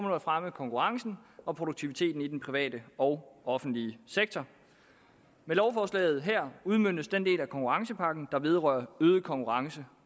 at fremme konkurrencen og produktiviteten i den private og offentlige sektor med lovforslaget her udmøntes den del af konkurrencepakken der vedrører øget konkurrence